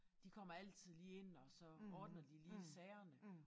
De kommer altid lige ind og så ordner de lige sagerne